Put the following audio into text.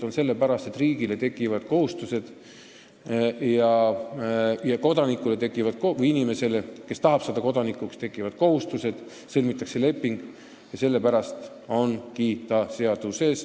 Nimelt sellepärast, et riigile tekivad kohustused ja inimesele, kes tahab saada kodanikuks, tekivad ka kohustused, sõlmitakse leping.